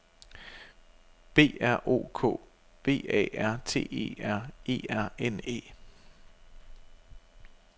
B R O K V A R T E R E R N E